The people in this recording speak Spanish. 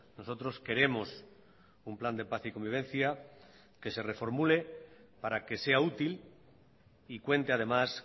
nosotros queremos un plan de paz y convivencia que se reformule para que sea útil y cuente además